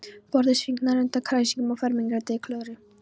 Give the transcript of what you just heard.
Borðið svignar undan kræsingunum á fermingardegi Klöru.